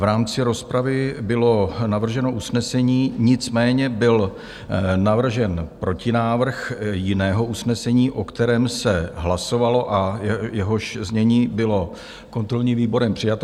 V rámci rozpravy bylo navrženo usnesení, nicméně byl navržen protinávrh jiného usnesení, o kterém se hlasovalo a jehož znění bylo kontrolní výborem přijato.